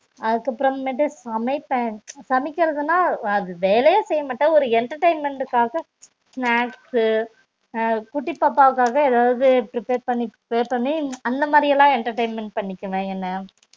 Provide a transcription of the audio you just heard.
அதுக்கு அப்பறம் மேட்டு சமைப்பன் சமைகுரதுனா அது வேலையே செய்யமாட்டன் ஒரு entertainment காக snacks அஹ் குட்டி பாப்பகாக எதாவது prepare பண்ணி prepare பண்ணி அந்த மாரிலான் entertainment பன்னிப்பன் என்ன